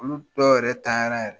Olu dɔ yɛrɛ ntanya la yɛrɛ.